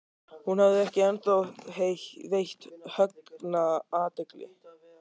Hún hafði ekki ennþá veitt Högna athygli.